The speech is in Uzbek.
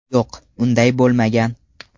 Yo‘q, unday bo‘lmagan.